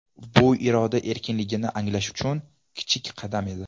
Bu iroda erkinligini anglash uchun kichik qadam edi.